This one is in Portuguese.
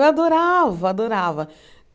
Eu adorava, adorava.